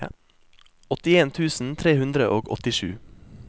åttien tusen tre hundre og åttisju